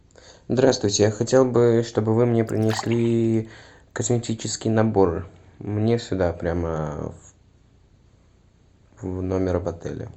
здравствуйте я хотел бы чтобы вы мне принесли косметический набор мне сюда прям в номер в отеле